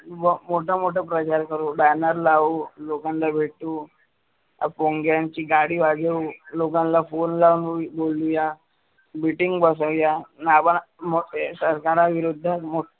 व मोठा मोठ प्रचार करू baner लावू, लोकांना भेटू भोंग्यांची गाडी वाजवू. लोकांना फोन लावून बोलवूया, meeting बसवूया. आपण मो ए सरकार विरुद्ध मो